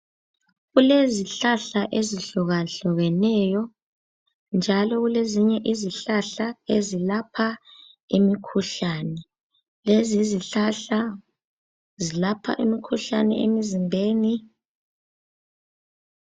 Kulezihlahla ezihlukahlukeneyo njalo kulezinye izihlahla ezilapha imikhuhlane. Lezi izihlahla zilapha imikhuhlane emzimbeni.